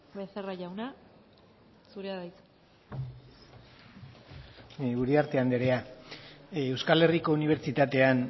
becerra jauna zurea da hitza uriarte andrea euskal herriko unibertsitatean